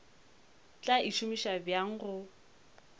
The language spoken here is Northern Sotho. tla e šomiša bjang go